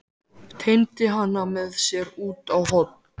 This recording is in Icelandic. Teymdi hana með sér út á horn.